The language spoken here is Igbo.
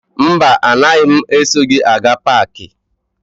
Mba, anaghị m eso gị aga paakị.